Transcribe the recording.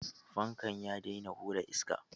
Fankan ya daina hura iska.